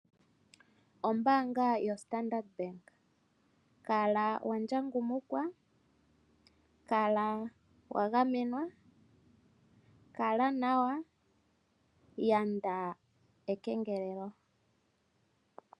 Ombaanga yoStandard Bank. Kala wa ndjangumukwa, kala wa gamenwa, kala nawa, yanda ekengelelo.